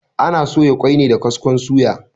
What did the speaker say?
Ana soya ƙoi ne da kaskon suya.